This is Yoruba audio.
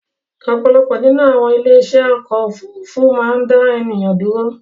Ọ̀pọ̀lọpọ̀ nínú àwon ilé iṣé ọ̀kọ̀ ofúrufú má n dá ènìyàn dúró